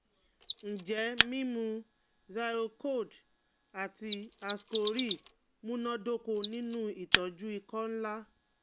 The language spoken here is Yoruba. Njẹ mimu Zyrcold ati Ascoril munadoko ninu itọju ikọ nla?